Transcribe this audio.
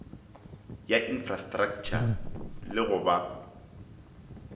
ya infrastraktšha le go ba